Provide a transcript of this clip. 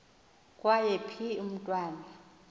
kwaye phi umntwana